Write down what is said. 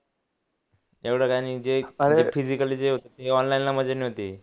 एवढं काय नाही जे पिजिकली जे होतं ते ऑनलाइन ला मजा नव्हती